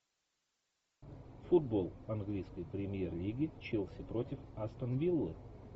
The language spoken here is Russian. футбол английской премьер лиги челси против астон виллы